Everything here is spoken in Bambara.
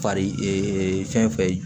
Fari fɛn fɛn ye